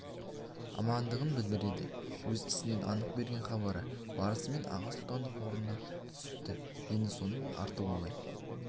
амандығын білдіреді өз ісінен анық берген хабары барысымен аға сұлтандық орнынан түсіпті енді соның арты оңай